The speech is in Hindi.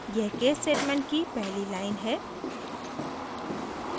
यह case statement की पहली line है